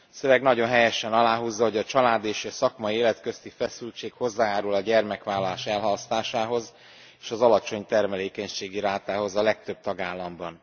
A szöveg nagyon helyesen aláhúzza, hogy a család és a szakmai élet közti feszültség hozzájárul a gyermekvállalás elhalasztásához és az alacsony termékenységi rátához a legtöbb tagállamban.